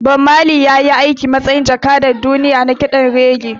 Bob Marley ya yi aiki a matsayin jakadan duniya na kiɗan reggae